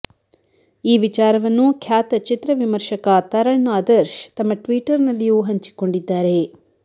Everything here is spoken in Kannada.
ಈ ವಿಚಾರವನ್ನು ಖ್ಯಾತ ಚಿತ್ರ ವಿಮರ್ಶಕ ತರಣ್ ಆದರ್ಶ್ ತಮ್ಮ ಟ್ವೀಟರ್ ನಲ್ಲಿಯೂ ಹಂಚಿಕೊಂಡಿದ್ದಾರೆ